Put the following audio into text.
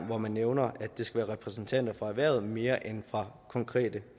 hvor man nævner at det skal repræsentanter for erhvervet mere end for konkrete